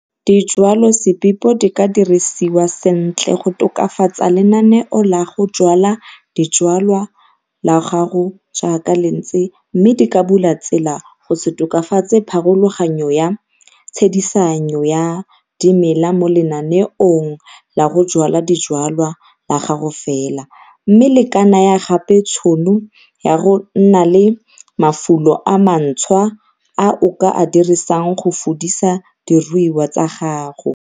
DIJWALOSEBIPO DI KA DIRISIWA SENTLE GO TOKAFATSA LENANEO LA GO JWALA DIJWALWA LA GAGO JAAKA LE NTSE MME DI KA BULA TSELA GO SE TOKOFATSE PHAROLOGANYO YA TSHEDISANYO YA DIMELA MO LENANEONG LA GO JWALA DIJWALWA LA GAGO FELA, MME LE KA NAYA GAPE TSHONO YA GO NNA LE MAFULO A MANTSHWA A O KA A DIRISANG GO FUDISA DIRUIWA TSA GAGO.